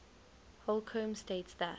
holcombe states that